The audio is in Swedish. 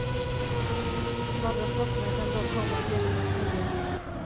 De andra sporterna kan dock komma att ersättas med nya.